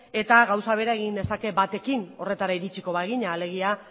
eta gauza bera egin dezake batekin horretara iritsiko bagina alegia